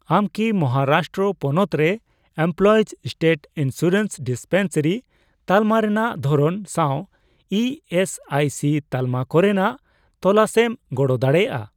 ᱟᱢ ᱠᱤ ᱢᱚᱦᱟᱨᱟᱥᱴᱨᱚ ᱯᱚᱱᱚᱛ ᱨᱮ ᱮᱢᱯᱞᱚᱭᱤᱡᱽ ᱥᱴᱮᱴ ᱤᱱᱥᱩᱨᱮᱱᱥ ᱰᱤᱥᱯᱮᱱᱥᱟᱨᱤ ᱛᱟᱞᱢᱟ ᱨᱮᱱᱟᱜ ᱫᱷᱚᱨᱚᱱ ᱥᱟᱶ ᱤ ᱮᱥ ᱟᱭ ᱥᱤ ᱛᱟᱞᱢᱟ ᱠᱚᱨᱮᱱᱟᱜ ᱛᱚᱞᱟᱥᱨᱮᱢ ᱜᱚᱲᱚ ᱫᱟᱲᱮᱭᱟᱜᱼᱟ ?